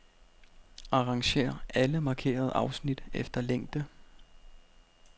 Arrangér alle markerede afsnit efter længde.